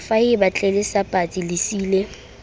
faeba tlelase patsi le seili